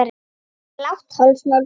Blátt hálsmál og